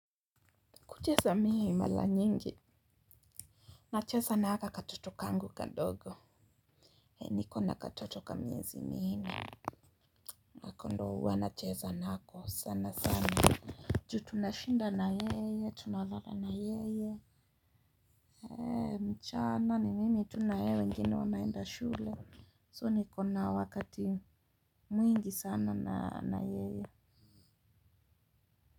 Kucheza mie mala nyingi nacheza nahaka katoto kangu kadogo nikona katotok kamiezi minne. Nako ndo uwa nacheza nako sana sana ju tunashinda na yeye tunalala na yeye. Heee mchana ni mimi tu na yeye wengine wameenda shule. So nikona wakati mwingi sana na yeye.